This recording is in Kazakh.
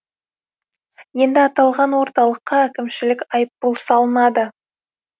енді аталған орталыққа әкімшілік айыппұл салынады